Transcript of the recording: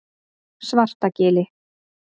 Svartagili